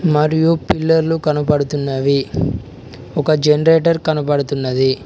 మరియు పిల్లర్లు కనబడుతున్నవి ఒక జనరేటర్ కనబడుతున్నది.